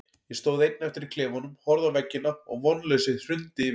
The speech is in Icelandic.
Ég stóð einn eftir í klefanum, horfði á veggina og vonleysið hrundi yfir mig.